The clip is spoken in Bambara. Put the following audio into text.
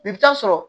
I bɛ taa sɔrɔ